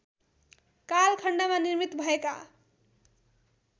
कालखण्डमा निर्मित भएका